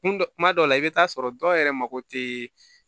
Kun dɔ kuma dɔw la i bɛ taa sɔrɔ dɔw yɛrɛ mako tɛ